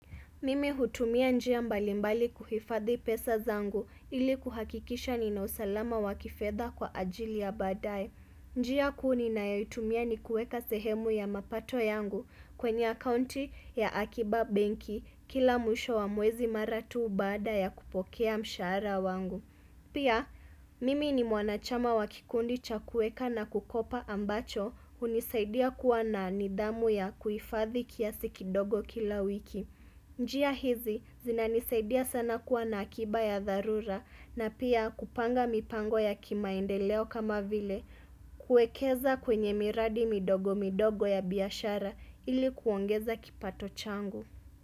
Mimi hutumia njia mbalimbali kuhifadhi pesa zangu ili kuhakikisha nina usalama wa kifedha kwa ajili ya badae. Njia kuu ninayoitumia nikueka sehemu ya mapato yangu kwenye akaunti ya akiba benki kila mwisho wa mwezi mara tu baada ya kupokea mshara wangu. Pia, mimi ni mwanachama wa kikundi cha kueka na kukopa ambacho hunisaidia kuwa na nidhamu ya kuhifadhi kiasi kidogo kila wiki. Njia hizi zinanisaidia sana kuwa na akiba ya dharura na pia kupanga mipango ya kimaendeleo kama vile kuekeza kwenye miradi midogo midogo ya biashara ili kuongeza kipato changu.